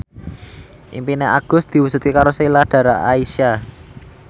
impine Agus diwujudke karo Sheila Dara Aisha